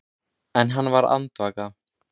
En hann varð andvaka.